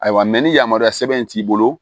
Ayiwa ni yamaruya sɛbɛn in t'i bolo